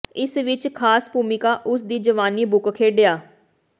ਇਸ ਵਿਚ ਖਾਸ ਭੂਮਿਕਾ ਉਸ ਦੀ ਜਵਾਨੀ ਬੁੱਕ ਖੇਡਿਆ